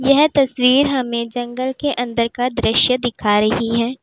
यह तस्वीर हमें जंगल के अंदर का दृश्य दिखा रही है।